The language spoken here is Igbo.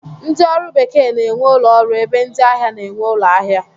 Ndị ọrụ bekee na-enwe ụlọọrụ ebe ndị ahịa na-enwe ụlọahịa